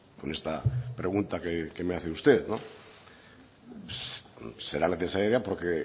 con esta pregunta que me hace usted será necesaria porque